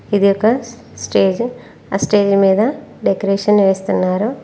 ఇది ఒక స్టేజ్ ఆ స్టేజ్ మీద డెకరేషన్ చేస్తున్నారు.